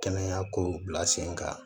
Kɛnɛya kow bila sen kan